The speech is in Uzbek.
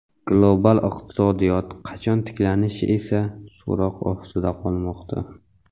Global iqtisodiyot qachon tiklanishi esa so‘roq ostida qolmoqda.